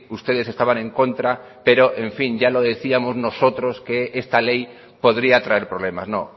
ustedes estaban en contra pero en fin ya lo decíamos nosotros que esta ley podría traer problemas no